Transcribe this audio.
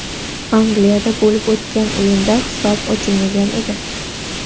Angliyada bo‘lib o‘tgan o‘yinda hisob ochilmagan edi.